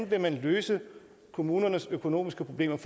vil løse kommunernes økonomiske problemer